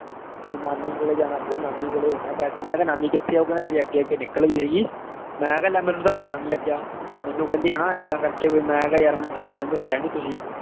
ਨਾਨੀ ਕੋਲੇ ਜਾਣਾ ਪਊਗਾ ਨਾਨੀ ਕੋਲੇ ਹੋਣੇ ਆਂ ਪੈਸੇ ਮੈਂ ਕਿਹਾ ਨਾਨੀ ਕਿੱਥੇ ਆ, ਉਹ ਕਹਿੰਦਾ ਤੇਰੇ ਅੱਗੇ ਅੱਗੇ ਨਿਕਲ ਗਈ ਮੈਂ ਕਿਹਾ ਲੈ ਮੈਨੂੰ ਤਾਂ ਪਤਾ ਨੀ ਲੱਗਿਆ, ਮੈਨੂੰ ਕਹਿੰਦੀ ਹਨਾ ਏਦਾਂ ਕਰਕੇ ਵੀ ਮੈਂ ਕਿਹਾ ਯਾਰ ਮੈਨੂੰ ਤਾਂਂ ਪਤਾ ਨੀ ਦੱਸਿਆ ਨੀ ਤੁਸੀਂ।